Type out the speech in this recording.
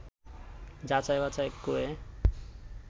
যাচাই বাছাই করে